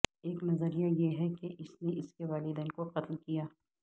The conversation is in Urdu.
ایک نظریہ یہ ہے کہ اس نے اس کے والدین کو قتل کیا